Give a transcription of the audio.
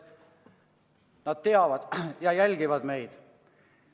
Nad teavad ja jälgivad meid.